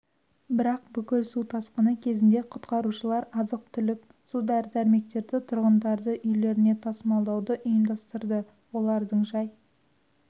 бірақ бүкіл су тасқыны кезінде құтқарушылар азық-түлік су дәрі-дәрмектерді тұрғындарды үйлеріне тасымалдауды ұйымдастырды олардың жай